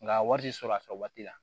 Nka wari tɛ sɔrɔ a fɛ waati la